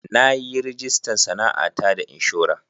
Na yi rajista sana'ata da inshora.